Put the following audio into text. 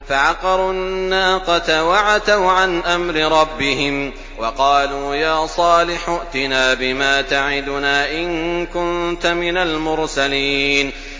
فَعَقَرُوا النَّاقَةَ وَعَتَوْا عَنْ أَمْرِ رَبِّهِمْ وَقَالُوا يَا صَالِحُ ائْتِنَا بِمَا تَعِدُنَا إِن كُنتَ مِنَ الْمُرْسَلِينَ